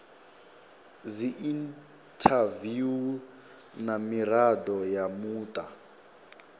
dziinthaviwu na mirado ya muta